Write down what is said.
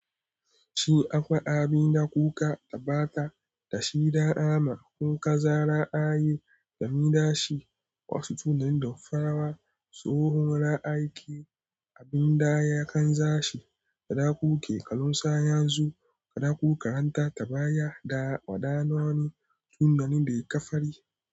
Shin akwai abin da kuka, tabbata da shida amma, kun kaza ra'ayi da miɗashi, wasu tunanin da farawa, tsohon ra'aki, abin da ya kan sashi, da dakuke kalunsa yanzu, kaɗaku ka'anta tabaya da waɗannani tunani da ya ƙafari.